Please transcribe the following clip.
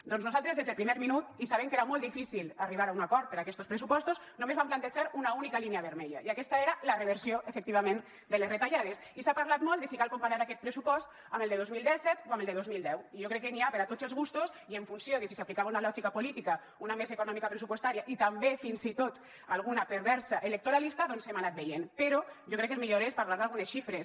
doncs nosaltres des del primer minut i sabent que era molt difícil arribar a un acord per a aquests pressupostos només vam plantejar una única línia vermella i aquesta era la reversió efectivament de les retallades i s’ha parlat molt de si cal comparar aquest pressupost amb el de dos mil disset o amb el de dos mil deu i jo crec que n’hi ha per a tots els gustos i en funció de si s’aplicava una lògica política una més econòmica pressupostària i també fins i tot alguna perversa electoralista doncs hem anat veient però jo crec que el millor és parlar d’algunes xifres